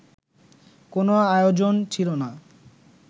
কোনো আয়োজন ছিল না